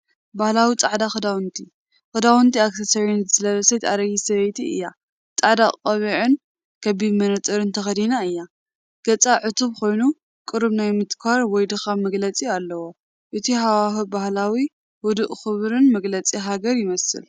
ባህላዊ ጻዕዳ ክዳውንቲ፡ ክዳውንትን ኣክሰሰሪታትን ዝለበሰት ኣረጊት ሰበይቲ እያ፡ ጻዕዳ ቆቢዕን ክቡብ መነጽርን ተኸዲና እያ። ገጻ ዕቱብ ኮይኑ፡ ቁሩብ ናይ ምትኳር ወይ ድኻም መግለጺ ኣለዋ። እቲ ሃዋህው ባህላዊ፡ ህዱእን ክቡርን መግለፂ ሃገር ይመስል።